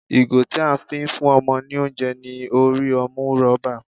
Ìgò tí a fi ń fún ọmọ ní oúnjẹ ní orí ọmú rọ́bà.